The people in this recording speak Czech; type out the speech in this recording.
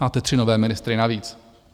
Máte tři nové ministry navíc.